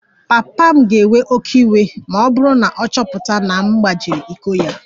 Papa m ga-ewe oké iwe ma ọ bụrụ na ọ chọpụta na m gbajiri iko ya